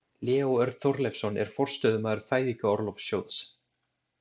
Leó Örn Þorleifsson er forstöðumaður Fæðingarorlofssjóðs.